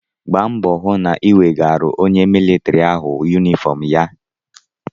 Gba mbọ hụ na ị wegaara onye militrị ahụ yunifọm ya!